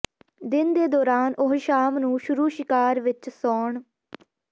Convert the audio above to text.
ਦਿਨ ਦੇ ਦੌਰਾਨ ਉਹ ਸ਼ਾਮ ਨੂੰ ਸ਼ੁਰੂ ਸ਼ਿਕਾਰ ਵਿੱਚ ਸੌਣ